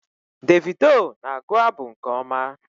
Davido na-agụ abụ nke ọma